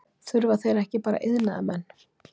Þurfa þeir ekki bara iðnaðarmenn?